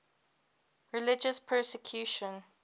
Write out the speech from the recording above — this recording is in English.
religious persecution